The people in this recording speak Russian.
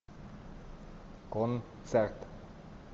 концерт